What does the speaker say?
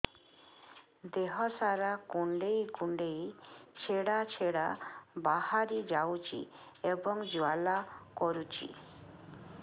ଦେହ ସାରା କୁଣ୍ଡେଇ କୁଣ୍ଡେଇ ଛେଡ଼ା ଛେଡ଼ା ବାହାରି ଯାଉଛି ଏବଂ ଜ୍ୱାଳା କରୁଛି